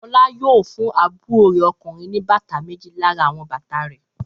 Fọlá yóò fún àbúrò rẹ̀ ọkùnrin ní méjì lára àwọn bàtà rẹ̀.